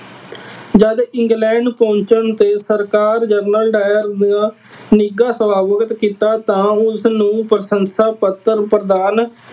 ਜਦ ਇੰਗਲੈਂਡ ਪਹੁੰਚਣ ਤੇ ਸਰਕਾਰ ਜਨਰਲ ਡਾਇਰ ਦਾ ਨਿੱਘਾ ਸਵਾਗਤ ਕੀਤਾ ਤਾਂ ਉਸਨੂੰ ਪ੍ਰਸ਼ੰਸ਼ਾ ਪੱਤਰ ਪ੍ਰਦਾਨ